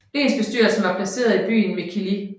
Lensbestyrelsen var placeret i byen Mikkeli